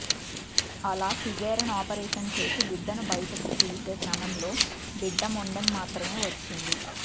అలా caesarean operation చేసి బిడ్డను బయటకు తీసే క్రమంలో బిడ్డ మొండెం మాత్రమే వచ్చింది